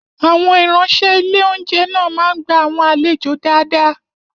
Àwọn ìránṣẹ́ ilé oúnjẹ náà máa ń gbá àwọn àlejò dáadáa